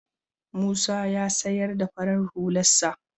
Musa ya sayar da farar hularsa.